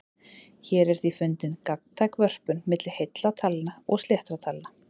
Hér er því fundin gagntæk vörpun milli heilla talna og sléttra talna.